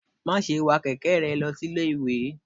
ma sé wa kẹkẹ rẹ losí Ilé ìwè!